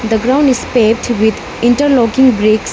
The ground is paved with interlocking bricks.